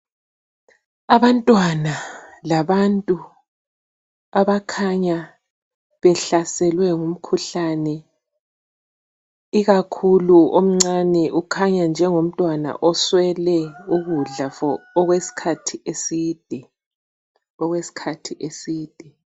Abantwana labantu abakhanya behlaselwe ngumkhuhlane, ikakhulu omncane ukhanya njengomntwana oswele ukudla okweskhathi eside.